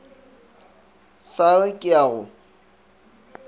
sa re ke a go